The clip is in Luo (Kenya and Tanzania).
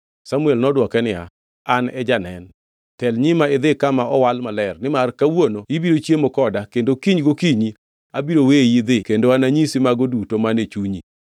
Samuel nodwoke niya, “An e janen. Tel nyima idhi kama owal maler nimar kawuono ibiro chiemo koda kendo kiny gokinyi abiro weyi idhi kendo ananyisi mago duto man e chunyi.